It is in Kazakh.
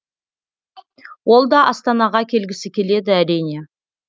ол да астанаға келгісі келеді әрине